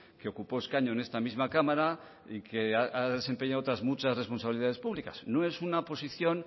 que ocupó escaño en esta misma cámara y que ha desempeñado otras muchas responsabilidades públicas no es una posición